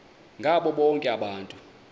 ngabo bonke abantu